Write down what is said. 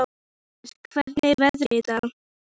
Nikolai, hvernig er veðrið í dag?